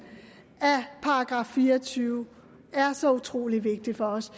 af § fire og tyve er så utrolig vigtig for os